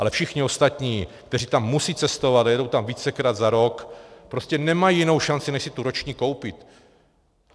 Ale všichni ostatní, kteří tam musí cestovat a jedou tam vícekrát za rok, prostě nemají jinou šanci, než si tu roční koupit.